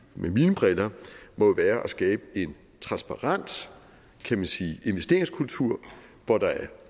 med mine briller jo må være at skabe en transparent investeringskultur hvor der er